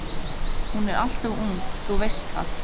Hún er alltof ung, þú veist það.